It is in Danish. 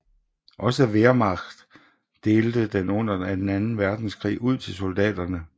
Også Wehrmacht delte den under anden verdenskrig ud til soldaterne